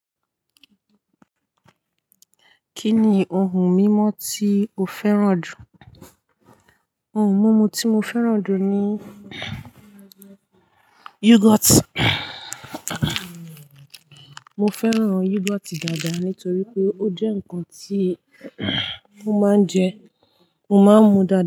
Kí ni ohun mímu tí o fẹ́ràn jù? Ohun mímu tí mo fẹ́ràn jù ni yogurt. Mo fẹ́ràn yogurt dáadáa nítorí pé ó jẹ́ ǹkan tí mo máa ń jẹ, mo máa ń mu dáadáa.